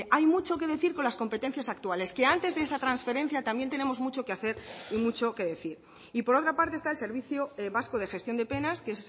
hay mucho que decir con las competencias actuales que antes de esa transferencia también tenemos mucho que hacer y mucho que decir y por otra parte está el servicio vasco de gestión de penas que